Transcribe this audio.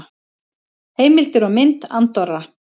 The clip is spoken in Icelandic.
Heimildir og mynd Andorra.